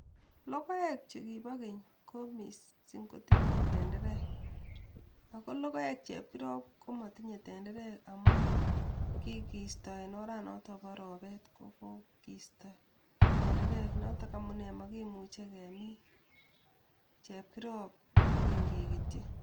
Logoek chukibo keny ko misiing ko tinye tenterek ago logoek chepkirop komotinye tenterek amun kigiisto en oranaton po ropeet ko kiisto tenterek notok amune makimuche kemin chepkirop kogeny kegetyi